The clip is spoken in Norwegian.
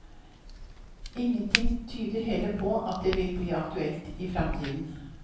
Ingenting tyder heller på at det vil bli aktuelt i fremtiden.